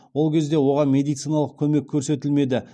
ол кезде оған медициналық көмек көрсетілмеді